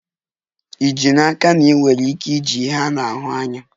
Ì ji n'aka na ị nwere ike iji ihe a na-ahụ anya?